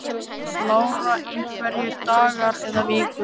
Lára: Einhverjir dagar eða vikur?